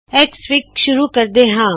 XFIG ਸ਼ੁਰੂ ਕਰਦੇ ਹਾ